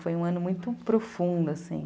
Foi um ano muito profundo, assim.